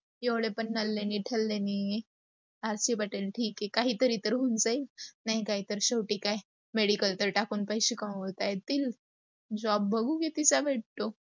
एवढे पण नल्ले नाही ठल्ले नाही. r. c. patil ठीक आहे काही तरी तर होतय. नाही काही तर शेवटी काय, medical तर टाकून पैसे कमावता येईल. job बघून कितीचा भेटतो.